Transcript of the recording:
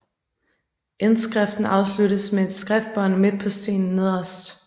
Indskriften afsluttes med et skriftbånd midt på stenen nederst